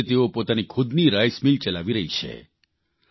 આજે તેઓ પોતાની ખુદની રાઇલમિલ ચલાવી રહી છે